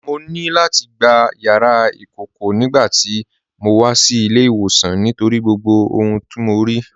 Mọ̀ ní láti gbà yàrà ikọ̀kọ̀ nigbàtí mó wà sí ilẹ̀-ìwọsan nítorí gbogbo ohun tó mọ̀ rí.